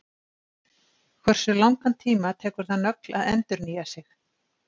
hversu langan tíma tekur það nögl að endurnýja sig